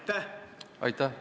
Aitäh!